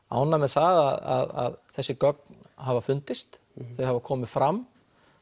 ánægð með það að þessi gögn hafa fundist þau hafa komið fram